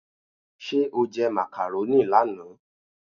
Ṣé o jẹ macaroni lánàá?